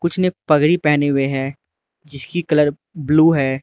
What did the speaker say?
उसने पगड़ी पहने हुए है जिसकी कलर ब्लू है।